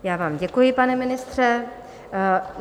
Já vám děkuji, pane ministře.